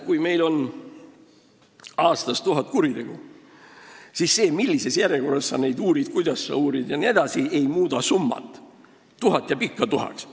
Kui meil on aastas tuhat kuritegu, siis see, millises järjekorras või kuidas sa neid uurid, ei muuda seda arvu: tuhat jääb ikka tuhandeks.